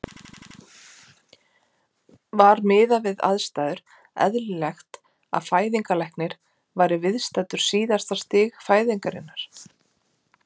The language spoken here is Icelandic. Var miðað við aðstæður eðlilegt að fæðingarlæknir væri viðstaddur síðasta stig fæðingarinnar?